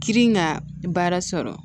Girin ka baara sɔrɔ